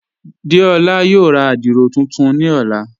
Déọla yóò rá àdírò tuntun ni ọ̀lá..